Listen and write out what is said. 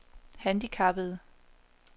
handicappede